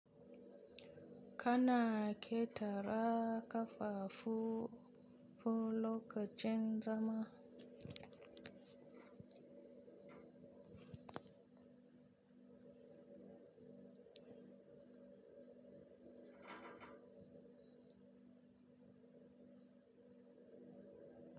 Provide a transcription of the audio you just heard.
Kana ƙetara kafafu fo lokacin zama.